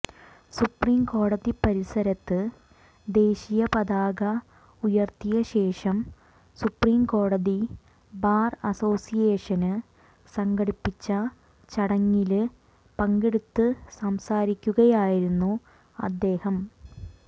supreme കോടതി പരിസരത്ത് ദേശീയ പതാക ഉയര്ത്തിയശേഷം സുപ്രീംകോടതി ബാര് അസോസിയേഷന് സംഘടിപ്പിച്ച ചടങ്ങില് പങ്കെടുത്ത് സംസാരിക്കുകയായിരുന്നു അദ്ദേഹം